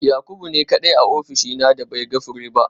Yakubu ne kadai a ofishina da bai ga fure ba